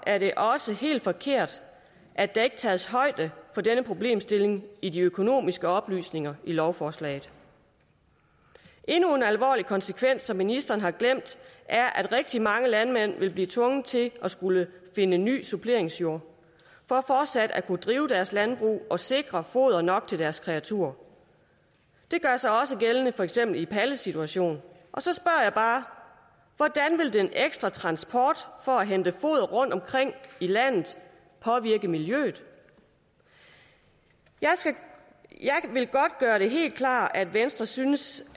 er det også helt forkert at der ikke tages højde for denne problemstilling i de økonomisk oplysninger i lovforslaget endnu en alvorlig konsekvens som ministeren har glemt er at rigtig mange landmænd vil blive tvunget til at skulle finde ny suppleringsjord for fortsat at kunne drive deres landbrug og sikre foder nok til deres kreaturer det gør sig også gældende for eksempel i palles situation og så spørger jeg bare hvordan vil den ekstra transport for at hente foder rundtomkring i landet påvirke miljøet jeg vil godt gøre det helt klart at venstre synes